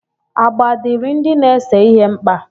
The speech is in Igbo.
Agba dịịrị ndị na-ese ihe mkpa.